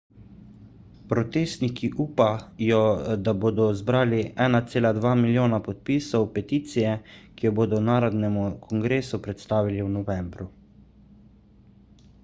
protestniki upajo da bodo zbrali 1,2 milijona podpisov peticije ki jo bodo narodnemu kongresu predstavili v novembru